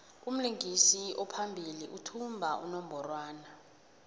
umlingisi ophambili uthumba unongorwand